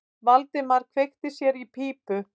Valdimar kveikti sér í pípu.